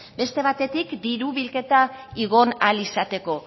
beste batetik diru bilketa igo ahal izateko